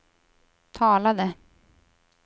talade